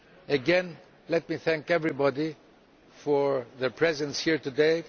Again, let me thank everybody for their presence here today.